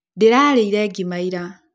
Ndĩrarĩire ngima ira